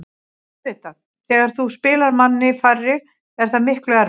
Auðvitað, þegar þú spilar manni færri er það miklu erfiðara.